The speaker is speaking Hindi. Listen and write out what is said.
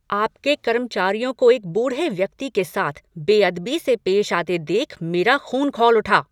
आपके कर्मचारियों को एक बूढ़े व्यक्ति के साथ बेअदबी से पेश आते देख मेरा ख़ून खौल उठा।